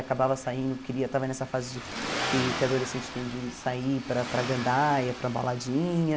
Acabava saindo, queria, estava nessa fase de que que adolescente tem de sair para para gandaia, para baladinha.